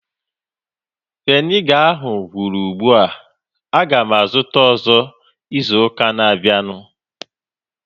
Viniga ahu gwụrụ ugbua. Aga m azụta ọzọ izu ụka na-abịanụ